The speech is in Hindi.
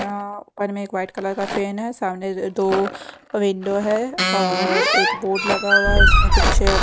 आ आ ऊपर एक मैं व्हाइट कलर का फैन सामने दो विंडो है और एक बोर्ड लगा हुआ है उसमें कुछ--